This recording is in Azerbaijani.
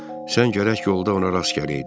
Sən gərək yolda ona rast gələydin.